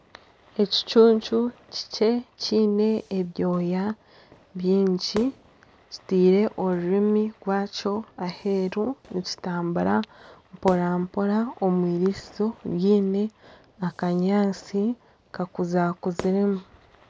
Ekicuncu kikye kiine ebyoya bingi kiteire orurimi rwakyo aheeru nikitambura mporampora omu eirisizo riine akanyaatsi kakuzakuziremu.